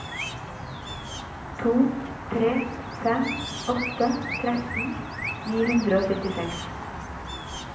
to tre fem åtte tretten ni hundre og syttiseks